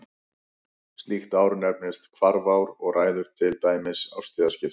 Slíkt ár nefnist hvarfár og ræður til dæmis árstíðaskiptum.